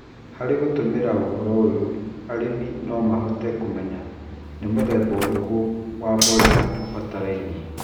Harĩ gũtũmĩra ũhoro ũyũ, arĩmi no mahote kũmenya nĩ mũthemba ũrĩkũ wa mborera ũbataranĩtie,